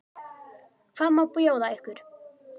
Hvað má bjóða ykkur?